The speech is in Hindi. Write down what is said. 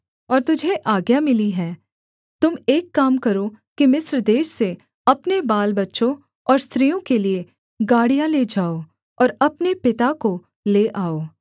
और तुझे आज्ञा मिली है तुम एक काम करो कि मिस्र देश से अपने बालबच्चों और स्त्रियों के लिये गाड़ियाँ ले जाओ और अपने पिता को ले आओ